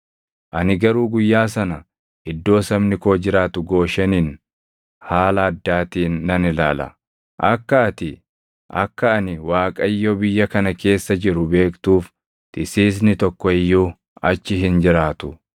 “ ‘Ani garuu guyyaa sana iddoo sabni koo jiraatu Gooshenin haala addaatiin nan ilaala; akka ati akka ani Waaqayyo biyya kana keessa jiru beektuuf tisiisni tokko iyyuu achi hin jiraatu.